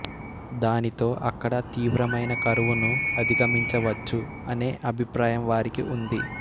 దానితో అక్కడ తీవ్రమైన కరువును అధిగమించవచ్చు అనే అభిప్రాయం వారికి ఉంది